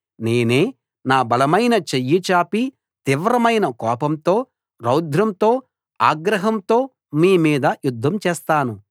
నేనే నా బలమైన చెయ్యి చాపి తీవ్రమైన కోపంతో రౌద్రంతో ఆగ్రహంతో మీమీద యుద్ధం చేస్తాను